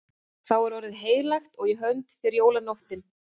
Þá er orðið heilagt og í hönd fer jólanóttin.